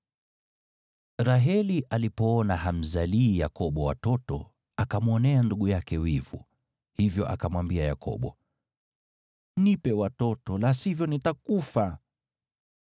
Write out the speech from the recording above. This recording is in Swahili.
Raheli alipoona hamzalii Yakobo watoto, akamwonea ndugu yake wivu. Hivyo akamwambia Yakobo, “Nipe watoto, la sivyo nitakufa!”